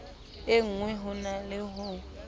engwe ho na le ho